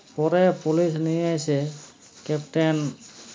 পরে police নিয়ে এসে captain